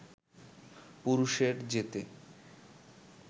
পুরুষের যেতে